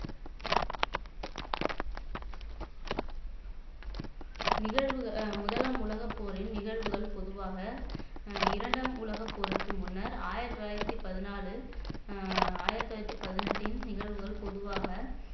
நிகழ்வு முதலாம் உலகப்போரின் நிகழ்வுகள் பொதுவாக அஹ் இரண்டாம் உலகப் போருக்கு முன்னர் ஆயிரத்தி தொள்ளாயிரத்தி பதினாலில் அஹ் ஆயிரத்தி தொள்ளாயிரத்தி பதினெட்டின் நிகழ்வுகள் பொதுவாக